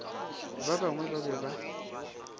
ba bangwe ba be ba